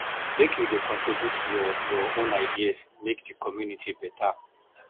make you dey contribute your your own ideas make di community beta